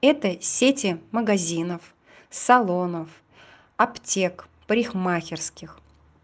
это сети магазинов салонов аптек в парикмахерских